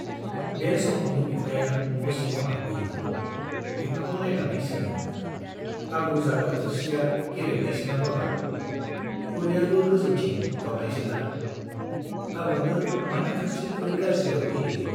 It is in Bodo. बे समावनो बिफाया न' सिङाव हाबफैयो। बिफाखौ नाइनानै सोङो, आबौ जाग्रा थोरसिया गेरेबनायसोना बाबा ? खुरैयाबो गोजौथिं गावनायसोना ? आबौनो मानो थोरसि-खुरै गाज्रियाव होयोलै ?